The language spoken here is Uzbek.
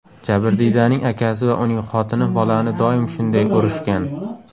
Jabrdiydaning akasi va uning xotini bolani doim shunday urishgan.